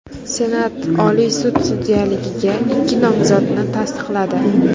Senat Oliy sud sudyaligiga ikki nomzodni tasdiqladi.